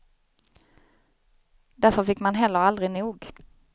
Därför fick man heller aldrig nog.